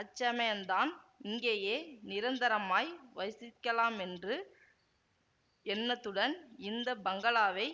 அச்சமயந்தான் இங்கேயே நிரந்தரமாய் வசிக்கலாமென்று எண்ணத்துடன் இந்த பங்களாவை